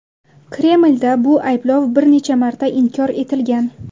Kremlda bu ayblov bir necha marta inkor etilgan.